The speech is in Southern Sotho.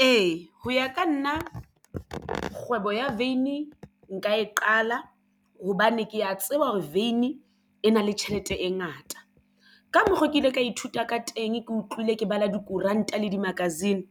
Ee, ho ya ka nna kgwebo ya veini nka e qala hobane ke ya tseba hore veini e na le tjhelete e ngata. Ka mokgo ke ile ka ithuta ka teng ke utlwile ke bala dikoranta le di-magazine.